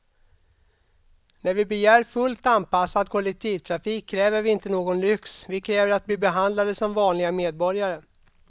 När vi begär fullt anpassad kollektivtrafik kräver vi inte någon lyx, vi kräver att bli behandlade som vanliga medborgare.